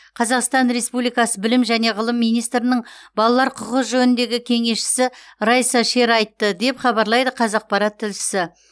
қазақстан республикасы білім және ғылым министрінің балалар құқығы жөніндегі кеңесшісі райса шер айтты деп хабарлайды қазақпарат тілшісі